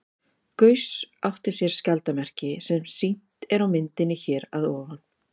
Gauss átti sér skjaldarmerki, sem sýnt er á myndinni hér að ofan.